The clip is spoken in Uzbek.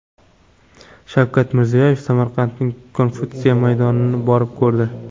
Shavkat Mirziyoyev Samarqanddagi Konfutsiy maydonini borib ko‘rdi.